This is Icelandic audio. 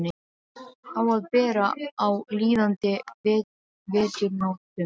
Á að bera á líðandi veturnóttum.